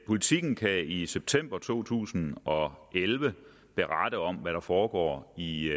politiken kan i september to tusind og elleve berette om hvad der foregår i